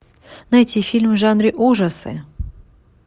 найти фильм в жанре ужасы